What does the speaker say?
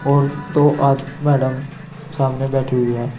और दो मैडम सामने बैठी हुई है।